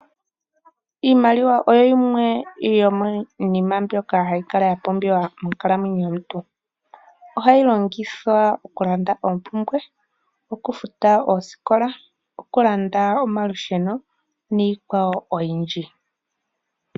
Iimaliwa oyo yimwe yomiinima mbyoka hayi kala ya pumbiwa monkalamwenyo yomuntu, ohayi longithwa okulanda oompumbwe, okufuta oosikola, okulanda omalusheno niikwawo oyindji.